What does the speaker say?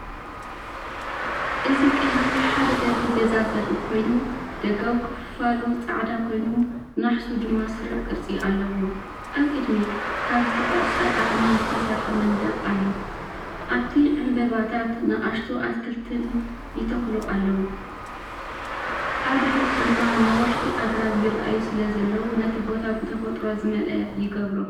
እዚ ቀሊል ሓደ ደርቢ ገዛ ዘርኢ ኮይኑ፡ደጋዊ ክፋሉ ጻዕዳ ኮይኑ፡ናሕሱ ድማ ስሩዕ ቅርጺ ኣለዎ። ኣብ ቅድሚት፡ካብ ዝተቖርጸ ኣእማንዝተሰርሐ መንደቕ ኣሎ። ኣብቲ ዕንበባታት ንኣሽቱ ኣትክልትን ይተኽሉ ኣለዉ። ኣብ ድሕሪት ድማ ነዋሕቲ ኣግራብ ይረኣዩ ስለዘለዉ፡ነቲ ቦታ ብተፈጥሮ ዝመልአ ይገብሮ።